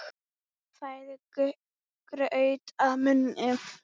Færir graut að munni.